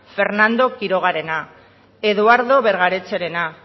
fernando quirogarena eduardo bergaretxerena